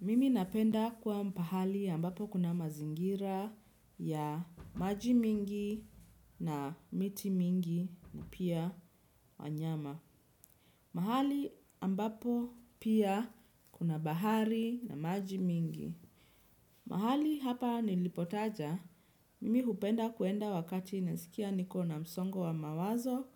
Mimi napenda kuwa pahali ambapo kuna mazingira ya maji mingi na miti mingi na pia wanyama. Mahali ambapo pia kuna bahari na maji mingi. Mahali hapa nilipotaja, mimi hupenda kuenda wakati nasikia niko na msongo wa mawazo